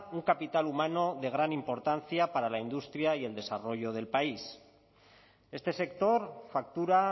un capital humano de gran importancia para la industria y el desarrollo del país este sector factura